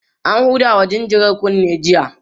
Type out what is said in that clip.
an Huda wa jinjirar kunne jiya